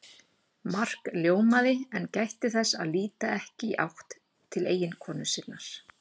Mark ljómaði en gætti þess að líta ekki í áttina til eiginkonu sinnar.